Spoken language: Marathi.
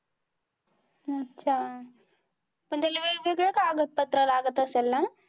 अच्छा! पण त्याला वेगवेगळे कागदपत्र लागत असत्याल ना?